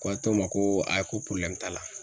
Ko a to ma ko ayi ko t'a la.